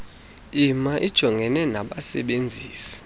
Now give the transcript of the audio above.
icma ijongene nabasebenzisi